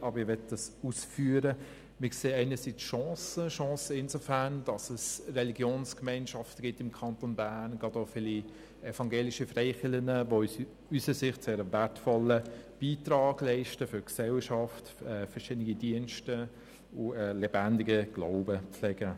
Einerseits sehen wir insofern Chancen, als es im Kanton Bern Religionsgemeinschaften gibt, gerade auch viele evangelische Freikirchen, die unseres Erachtens einen sehr wertvollen Beitrag für die Gesellschaft leisten sowie verschiedene Dienste und einen lebendigen Glauben pflegen.